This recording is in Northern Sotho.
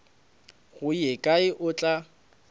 go ye kae o tla